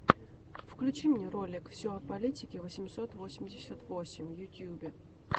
включи мне ролик все о политике восемьсот восемьдесят восемь в ютубе